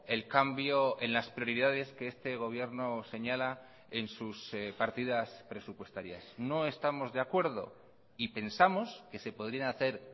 el cambio en las prioridades que este gobierno señala en sus partidas presupuestarias no estamos de acuerdo y pensamos que se podrían hacer